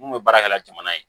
Mun bɛ baara kɛ la jamana ye